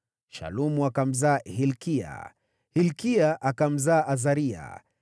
Shalumu akamzaa Hilkia, Hilkia akamzaa Azaria,